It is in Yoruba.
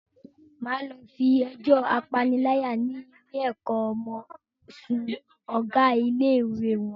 Máa lọ fi ẹjọ́ apaniláyà ni ilé ẹ̀kọ́ ọmọ sún Ọ̀gá ilé-ìwé wọn.